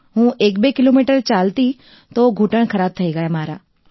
હું 12 કિલોમીટર ચાલી તો ઘૂંટણ ખરાબ થઈ ગયા મારા